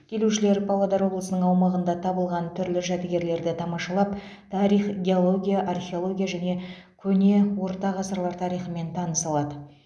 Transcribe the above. келушілер павлодар облысының аумағында табылған түрлі жәдігерлерді тамашалап тарих геология археология және көне орта ғасырлар тарихымен таныса алады